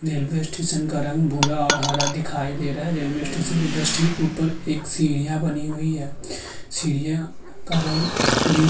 Railway station का रंग भूरा और हरा दिखाई दे रहा है। रेलवे स्टेशन के जस्ट ठीक ऊपर एक सीढ़ियाँ बनी हुई हैं। सीढ़ियाँ का रंग भी --